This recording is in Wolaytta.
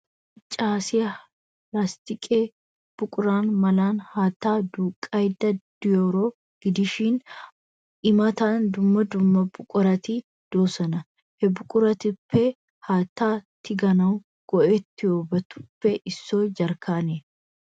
Issi maccaasiyaa lasttiqqe buqura malan haattaa duuqqaydda de'iyaaroo gidishin, I matan dumma dumma buqurati de'oosona. He buquratuppe haattaa tikkanawu go'iyaabatuppe issoy jarkkaaniyaa.